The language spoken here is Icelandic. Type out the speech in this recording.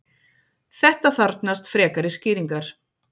þetta þarfnast frekari skýringar